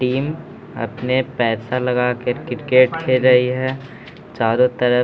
team अपने पैसा लगा कर के क्रिकेट खेल रही है चारों तरफ --